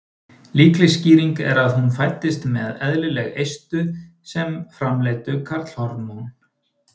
Líkleg skýring er að hún fæddist með eðlileg eistu sem framleiddu karlhormón.